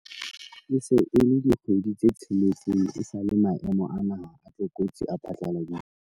E se e le dikgwedi tse tsheletseng esale maemo a naha a tlokotsi a phatlaladitswe.